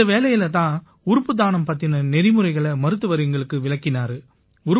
இந்த வேளையில தான் உறுப்பு தானம் பத்தின நெறிமுறைகளை மருத்துவர் எங்களுக்கு விளக்கினாரு